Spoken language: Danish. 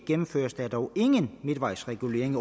gennemføres der dog ingen midtvejsregulering